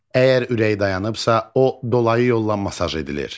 Əgər ürək dayanıbsa, o dolayı yolla masaj edilir.